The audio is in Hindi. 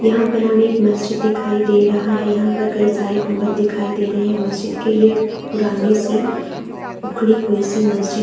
यहाँ पर हमें एक मस्जित दिखाई दे रहा है यहाँ पर कई सारे गुम्बद दिखाई दे रहे हैं मस्जित के ये पुराने सी उखड़ी हुई सी मस्जित --